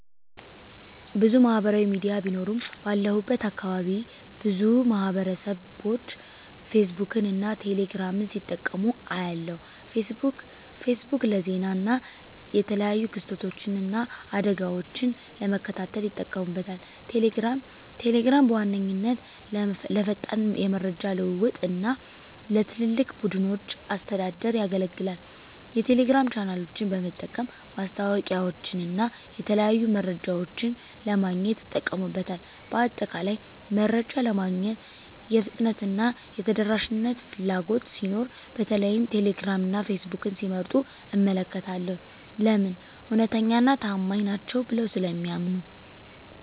**ብዙ ማህበራዊ ሚዲያ ቢኖሩም፦ ባለሁበት አካባቢ ብዙ ማህበረሰብቦች ፌስቡክን እና ቴሌ ግራምን ሲጠቀሙ አያለሁ፤ * ፌስቡክ: ፌስቡክ ለዜና እና የተለያዩ ክስተቶችን እና አደጋወችን ለመከታተል ይጠቀሙበታል። * ቴሌግራም: ቴሌግራም በዋነኛነት ለፈጣን የመረጃ ልውውጥ እና ለትላልቅ ቡድኖች አስተዳደር ያገለግላል። የቴሌግራም ቻናሎችን በመጠቀም ማስታወቂያወችንና የተለያዩ መረጃዎችን ለማግኘት ይጠቀሙበታል። በአጠቃላይ፣ መረጃ ለማግኘት የፍጥነትና የተደራሽነት ፍላጎት ሲኖር በተለይም ቴሌግራም እና ፌስቡክን ሲመርጡ እመለከታለሁ። *ለምን? እውነተኛና ታማኝ ናቸው ብለው ስለሚያምኑ።